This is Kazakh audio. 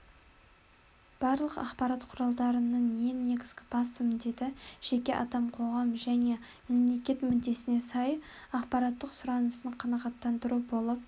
барлық ақпарат құралдарының ең негізгі басты міндеті жеке адам қоғам және мемлекет мүддесіне сай ақпараттық сұранысын қанағаттандыру болып